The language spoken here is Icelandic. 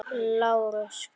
LÁRUS: Gott.